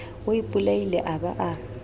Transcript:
o ipolaile a ba a